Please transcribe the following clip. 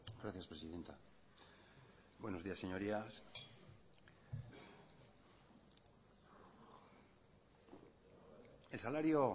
gracias presidenta buenos días señorías el salario